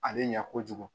Ale ɲɛ kojugu